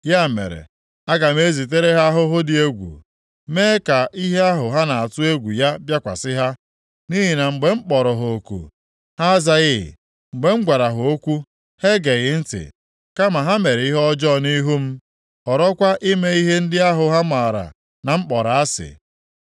Ya mere, aga m ezitere ha ahụhụ dị egwu, mee ka ihe ahụ ha na-atụ egwu ya bịakwasị ha. Nʼihi na mgbe m kpọrọ ha oku, ha azaghị, mgbe m gwara ha okwu, ha egeghị ntị. Kama ha mere ihe ọjọọ nʼihu m, họrọkwa ime ihe ndị ahụ ha maara na m kpọrọ asị.”